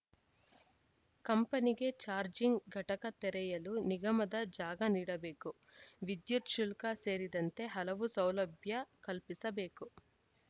ಕಂಪನಿಗೆ ಚಾರ್ಜಿಂಗ್‌ ಘಟಕ ತೆರೆಯಲು ನಿಗಮದ ಜಾಗ ನೀಡಬೇಕು ವಿದ್ಯುತ್‌ ಶುಲ್ಕ ಸೇರಿದಂತೆ ಹಲವು ಸೌಲಭ್ಯ ಕಲ್ಪಿಸಬೇಕು